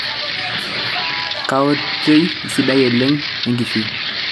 kaoitoi sidai oleng enkishui